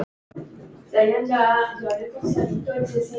Heyrðu mig.